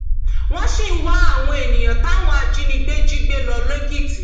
wọn sì ń wá àwọn èèyàn táwọn ajìnígbé jí gbé lọ lẹkìtì